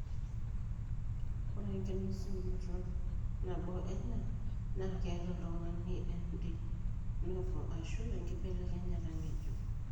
Ore enkinosunoto nabo ena naa keeta oltung'ani en de novo ashu enkibelekenyata ng'ejuk.